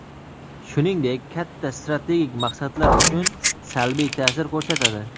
shuningdek katta strategik maqsadlar uchun salbiy taʼsir ko‘rsatadi.